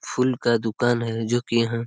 फूल का दुकान है जो कि यहां--